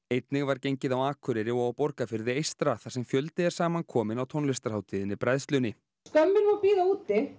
einnig var gengið á Akureyri og á Borgarfirði eystra þar sem fjöldi er saman kominn á tónlistarhátíðinni bræðslunni skömmin má bíða úti